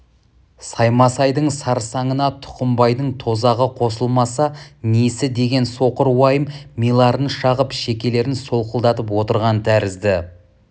саймасайдың сарсаңына тұқымбайдың тозағы қосылмаса несі деген соқыр уайым миларын шағып шекелерін солқылдатып отырған тәрізді